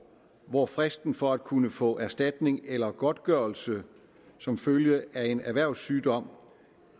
hvor fristen for at kunne få erstatning eller godtgørelse som følge af en erhvervssygdom